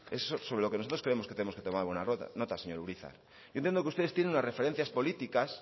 sobre lo que nosotros creemos que tenemos que tomar una nota señor urizar yo entiendo que ustedes tienen las referencias políticas